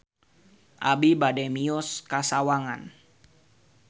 Abi bade mios ka Sawangan